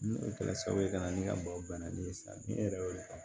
Ni o kɛra sababu ye ka na ni ka maaw banna ni ye sa ni e yɛrɛ y'o de faamu